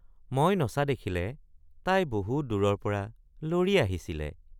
মই নচা দেখিলে তাই বহুত দূৰৰ পৰা লৰি আহিছিলে।